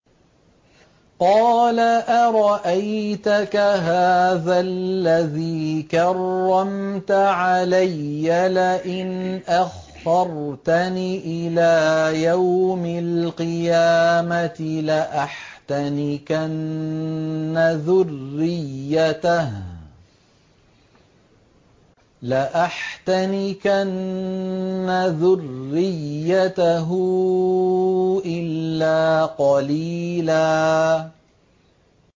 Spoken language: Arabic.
قَالَ أَرَأَيْتَكَ هَٰذَا الَّذِي كَرَّمْتَ عَلَيَّ لَئِنْ أَخَّرْتَنِ إِلَىٰ يَوْمِ الْقِيَامَةِ لَأَحْتَنِكَنَّ ذُرِّيَّتَهُ إِلَّا قَلِيلًا